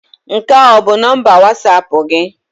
Nke a ọ bụ nọmba Wọsapụ gị?